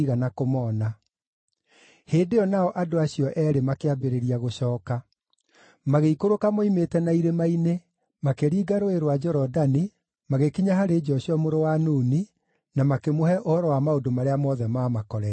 Thuutha wa ũguo Hĩndĩ ĩyo nao andũ acio eerĩ makĩambĩrĩria gũcooka. Magĩikũrũka moimĩte na irĩma-inĩ, makĩringa Rũũĩ rwa Jorodani, magĩkinya harĩ Joshua mũrũ wa Nuni, na makĩmũhe ũhoro wa maũndũ marĩa mothe maamakorete.